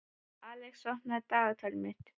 Alex, opnaðu dagatalið mitt.